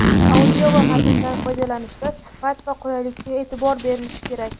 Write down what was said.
audio va matndan foydalanishda sifat va qulaylikka eʼtibor berilishi kerak.